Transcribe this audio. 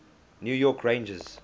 new york rangers